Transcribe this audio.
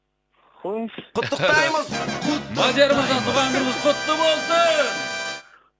қойыңызшы құттықтаймыз мадияр мырза туған күніңіз құтты болсын